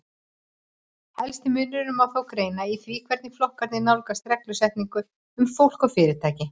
Helsta muninn má þó greina í því hvernig flokkarnir nálgast reglusetningu um fólk og fyrirtæki.